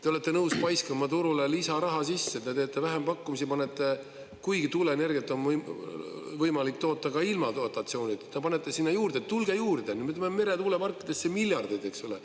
Te olete nõus paiskama turule lisaraha sisse, te teete vähempakkumisi, kuigi tuuleenergiat on võimalik toota ka ilma dotatsioonideta, panete sinna juurde, et tulge juurde, me paneme meretuuleparkidesse miljardeid, eks ole.